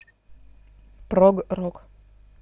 прог рок